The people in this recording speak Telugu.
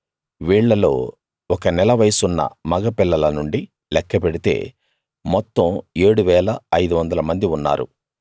వీళ్ళలో ఒక నెల వయసున్న మగ పిల్లల నుండి లెక్క పెడితే మొత్తం 7 500 మంది ఉన్నారు